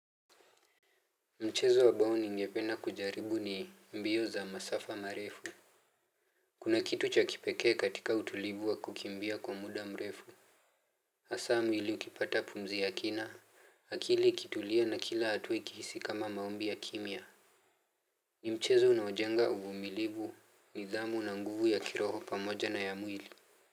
Mchezo ambao ningependa kujaribu ni mbio za masafa marefu. Kuna kitu cha kipekee katika utulivu wa kukimbia kwa muda mrefu. Hasa mwili ukipata pumzi ya kina, akili ikitulia na kila hatua ikihisi kama maombi ya kimya. Ni mchezo unaojenga uvumilivu nidhamu na nguvu ya kiroho pamoja na ya mwili.